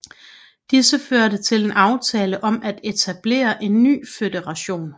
Disse førte til en aftale om at etablere en ny føderation